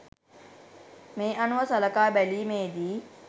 මේ අනුව සලකා බැලීමේ දී